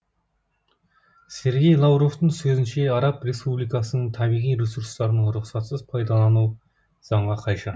сергей лавровтың сөзінше араб республикасының табиғи ресурстарын рұқсатсыз пайдалану заңға қайшы